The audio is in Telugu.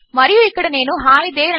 మరియు ఇక్కడ నేను హి తేరే